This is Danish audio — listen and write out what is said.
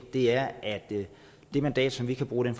er at det mandat vi kan bruge i